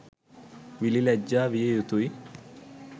විළි ලැජ්ජා විය යුතුයි.